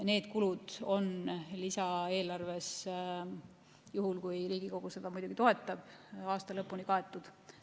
Need kulud on lisaeelarves, juhul kui Riigikogu seda toetab, aasta lõpuni kaetud.